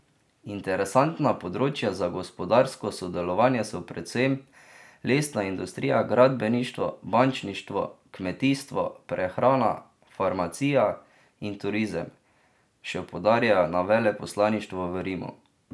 Interesantna področja za gospodarsko sodelovanje so predvsem lesna industrija, gradbeništvo, bančništvo, kmetijstvo, prehrana, farmacija in turizem, še poudarjajo na veleposlaništvu v Rimu.